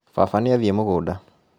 Baba nĩathiĩ mũgũnda